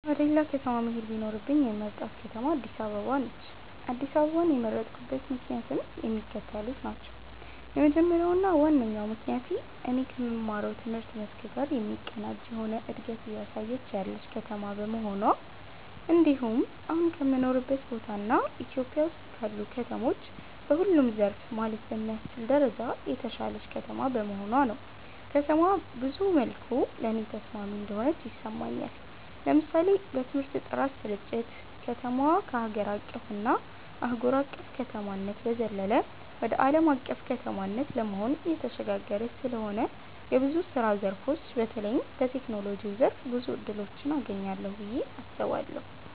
ወደ ሌላ ከተማ መሄድ ቢኖርብኝ የምመርጣት ከተማ አድስ አበባ ነች። አድስ አበባን የመረጥኩበት ምክንያትም የሚከተሉት ናቸው። የመጀመሪያው እና ዋነኛው ምክንያቴ እኔ ከምማረው ትምህርት መስክ ጋር የሚቀናጅ የሆነ እንደገት እያሳየች ያለች ከተማ በመሆኗ እንድሁም አሁን ከምኖርበት ቦታ እና ኢትዮጵያ ውስጥ ካሉ ከተሞች በሁሉም ዘርፍ ማለት በሚያስችል ደረጃ የተሻለች ከተማ በመሆኗ ነው። ከተማዋ ብዙ መልኩ ለኔ ተስማሚ እንደሆነች ይሰማኛል። ለምሳሌ በትምህርት ጥራት ስርጭት፣ ከተማዋ ከሀገር አቀፍ እና አህጉር አቅፍ ከተማነት በዘለለ ወደ አለም አቀፍ ከተማነት ለመሆን እየተሸጋገረች ስለሆነ ብዙ የስራ ዘርፎች በተለይም በቴክኖሎጂው ዘርፍ ብዙ እድሎችን አገኛለሁ ብየ አስባለሁ።